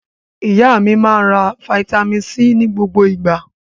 Ìyá mi máa ń ra fataímìn C ní gbogbo ìgbà.